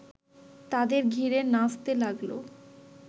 তাদের ঘিরে নাচতে লাগল